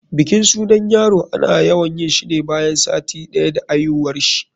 bikin sunan yaro ana yawan yinshi ne bayan sati ɗaya da aihuwarshi.